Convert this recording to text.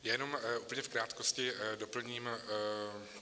Jenom úplně v krátkosti doplním.